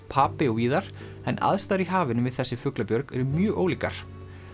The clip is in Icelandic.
Papey og víðar en aðstæður í hafinu við þessi fuglabjörg eru mjög ólíkar